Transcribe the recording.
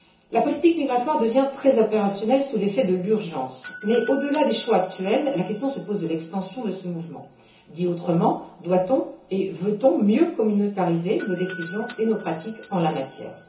La politique migratoire devient très opérationnelle sous l'effet de l'urgence mais, au delà des choix actuels, la question se pose de l'extension de ce mouvement. Autrement dit, doit on et veut on mieux communautariser nos décisions et nos pratiques en la matière?